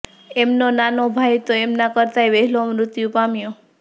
એમનો નાનો ભાઈ તો એમના કરતાંય વહેલો મૃત્યુ પામ્યો